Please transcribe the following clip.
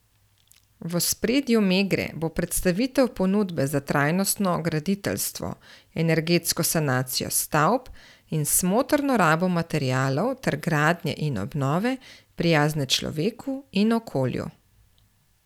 V ospredju Megre bo predstavitev ponudbe za trajnostno graditeljstvo, energetsko sanacijo stavb in smotrno rabo materialov ter gradnje in obnove, prijazne človeku in okolju.